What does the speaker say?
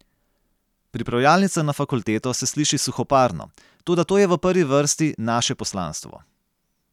Pripravljalnica na fakulteto se sliši suhoparno, toda to je v prvi vrsti naše poslanstvo.